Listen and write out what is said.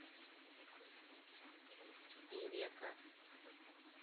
певека